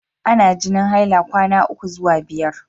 Ana jinin haila kwana ukwu zuwa biyar.